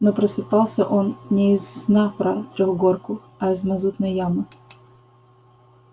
но просыпался он не из сна про трёхгорку а из мазутной ямы